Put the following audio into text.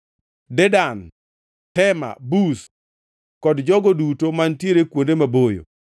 Dedan, Tema, Buz kod jogo duto mantiere kuonde maboyo;